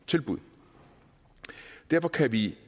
tilbud derfor kan vi